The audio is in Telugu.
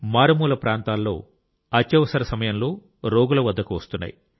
మారుమూల ప్రాంతాల్లో అత్యవసర సమయంలో రోగుల వద్దకు వస్తున్నాయి